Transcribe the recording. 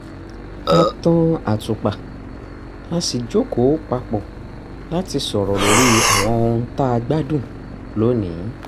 a tan àtùpà a sì jókòó pa pọ̀ láti sọ̀rọ̀ lórí àwọn ohun tá a gbádùn lónìí